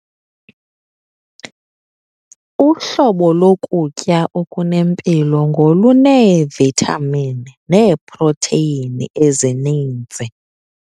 Uhlobo lokutya okunempilo ngoluneevithamini neeprotheyini ezininzi.